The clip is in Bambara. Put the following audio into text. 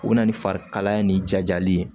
U bɛ na ni farikalaya ni jajali ye